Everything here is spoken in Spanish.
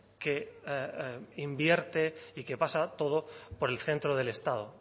que invierte y que pasa todo por el centro del estado